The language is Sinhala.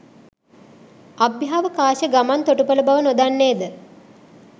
අභ්‍යාවකාශ ගමන් තොටුපල බව නොදන්නේද?